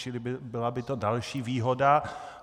Čili byla by to další výhoda.